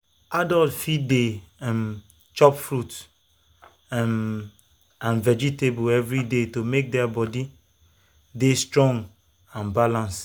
adults fit dey um chop fruit um and vegetables every day to make their body dey strong and balance.